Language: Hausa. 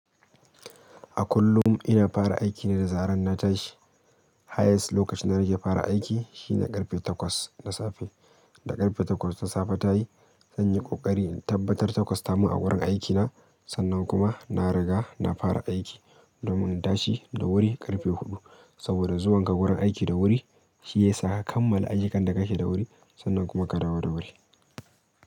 A kullum ina fara aiki ne da zarar na tashi Highest lokacin da na ke fara aiki shine ƙarfe takwas na safe. Da ƙarfe takwas ta safe ta yi, zan yi ƙoƙari in tabbatar takwas ta mun a wurin aikina, sannan kuma na riga na fara aiki domin na tashi da wuri ƙarfe huɗu saboda zuwan ka wurin aiki da wuri shi ya saka kammala ayyukan da kake da wuri sannan kuma ka dawo da wuri.